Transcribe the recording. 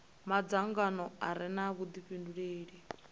madzangano a re na vhudifhinduleli